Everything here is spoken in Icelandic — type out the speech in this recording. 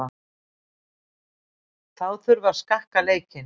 Þá þurfi að skakka leikinn.